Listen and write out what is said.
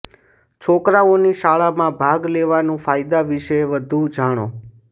છોકરાઓની શાળામાં ભાગ લેવાના ફાયદા વિશે વધુ જાણો